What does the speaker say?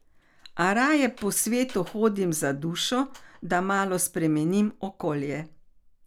A raje po svetu hodim za dušo, da malo spremenim okolje.